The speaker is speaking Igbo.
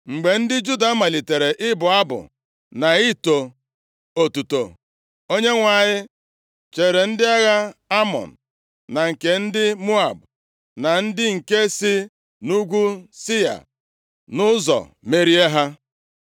Mgbe ndị Juda malitere ịbụ abụ na ito otuto, Onyenwe anyị cheere ndị agha Amọn na nke ndị Moab, na ndị nke si nʼugwu Sia nʼụzọ, merie ha.